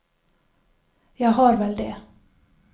Jeg har vel det.